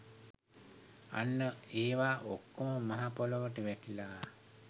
අන්න ඒවා ඔක්කොම මහ පොළොවට වැටිලා